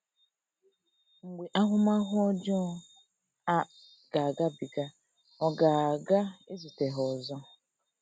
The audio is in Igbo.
Mgbe ahụmahụ ọjọọ a ga - agabiga, ọ ga - ga - ezute ha ọzọ.